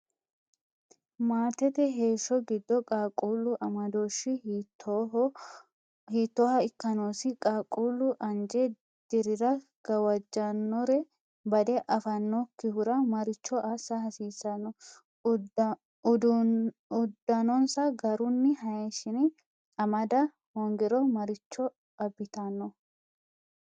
Maatete heeshsho giddo qaaqquullu amadooshshi hiittooha ikka noosi? Qaaqquullu anje dirira gawajjannore badde affannokkihura maricho assa hasiissanno? Uddanonsa garunni hayishshine amada hoongiro maricho abbitanno?